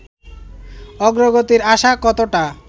অগ্রগতির আশা কতটা